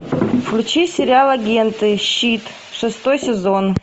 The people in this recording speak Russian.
включи сериал агенты щит шестой сезон